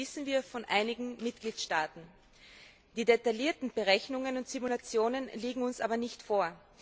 Das wissen wir von einigen Mitgliedstaaten. Die detaillierten Berechnungen und Simulationen liegen uns aber nicht vor.